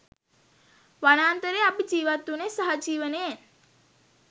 වනාන්තරයේ අපි ජිවත් වුණේ සහජීවනයෙන්.